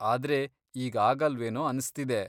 ಆದ್ರೆ ಈಗ್ ಆಗಲ್ವೇನೋ ಅನ್ಸ್ತಿದೆ.